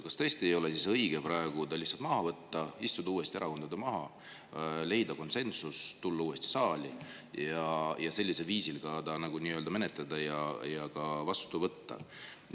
Kas tõesti ei ole siis õige praegu ta lihtsalt tagasi võtta, istuda uuesti erakondadega maha, leida konsensus, tulla uuesti saali ja sellisel viisil seda menetleda ja see vastu võtta?